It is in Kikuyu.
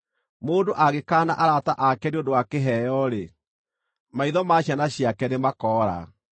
Mũndũ angĩkaana arata ake nĩ ũndũ wa kĩheo-rĩ, maitho ma ciana ciake nĩmakoora.